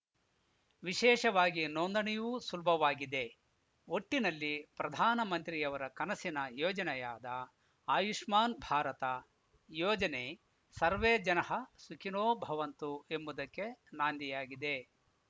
ವಿಶೇಷವಾಗಿ ನೋದಣಿಯೂ ಸುಲಭವಾಗಿದೆ ಒಟ್ಟಿನಲ್ಲಿ ಪ್ರಧಾನಿಮಂತ್ರಿಯವರ ಕನಸಿನ ಯೋಜನೆಯಾದ ಆಯುಷ್ಮಾನ್‌ ಭಾರತ ಯೋಜನೆ ಸರ್ವೆ ಜನಃ ಸುಖೀ ನೊ ಭವಂತು ಎಂಬುದಕ್ಕೆ ನಾಂದಿಯಾಗಿದೆ